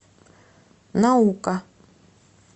наука